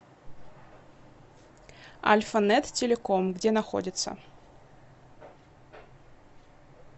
альфанет телеком где находится